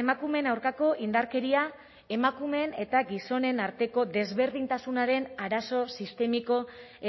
emakumeen aurkako indarkeria emakumeen eta gizonen arteko desberdintasunaren arazo sistemiko